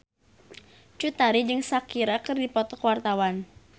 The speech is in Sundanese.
Cut Tari jeung Shakira keur dipoto ku wartawan